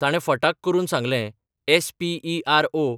ताणें फटाक् करून सांगलें एस पी ई आर ओ.